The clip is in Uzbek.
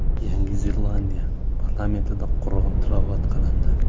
Yangi Zelandiya parlamentida Qur’on tilovat qilindi.